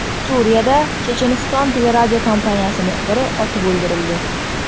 Suriyada Checheniston teleradiokompaniyasi muxbiri otib o‘ldirildi.